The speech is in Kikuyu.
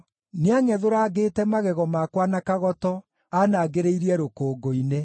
Nĩangʼethũrangĩte magego makwa na kagoto; anangĩrĩirie rũkũngũ-inĩ.